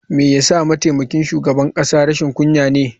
Me yasa mataimakin shugaban kasa rashin kunya ne?